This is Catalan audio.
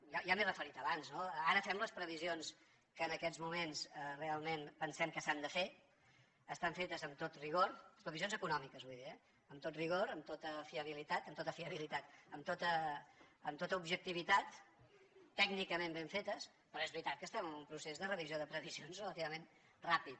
ja m’hi he referit abans no ara fem les previsions que en aquests moments realment pensem que s’han de fer estan fetes amb tot rigor les previsions econòmiques vull dir eh amb tot rigor amb tota fiabilitat amb tota objectivitat tècnicament ben fetes però és veritat que estem en un procés de revisió de previsions relativament ràpid